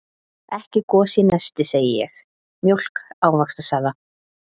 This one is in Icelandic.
Ekki gos í nesti, segi ég, mjólk, ávaxtasafa.